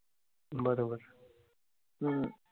बरोबर. हम्म